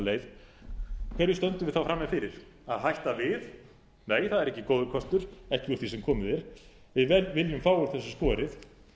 hverju stöndum við þá frammi fyrir að hætta við nei það er ekki góður kostur ekki úr því sem komið er við viljum fá úr þessu skorið